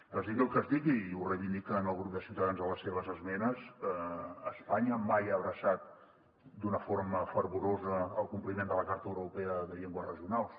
es digui el que es digui i ho reivindiquen el grup de ciutadans en les seves esmenes espanya mai ha abraçat d’una forma fervorosa el compliment de la carta europea de les llengües regionals